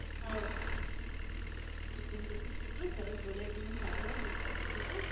હઉ પછી એમ કે તું કેટલું સરસ બોલે એટલે મને સાંભળવાની ઈચ્છા થઇ ગઈ તું બોલ બોલ